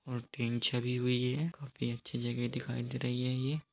और टिन छवि हुई है और काफी अच्छी जगह दिखाई दे रही है ये।